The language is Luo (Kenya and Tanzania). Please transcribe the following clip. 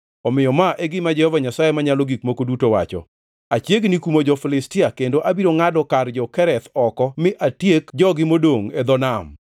omiyo ma e gima Jehova Nyasaye Manyalo Gik Moko Duto wacho: Achiegni kumo jo-Filistia, kendo abiro ngʼado kar jo-Kereth oko mi atiek jogi modongʼ e dho nam.